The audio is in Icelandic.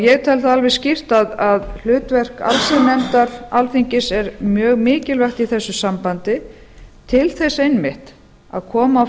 ég tel það alveg skýrt að hlutverk allsherjarnefndar alþingis er mjög mikilvægt í þessu sambandi til þess einmitt að koma á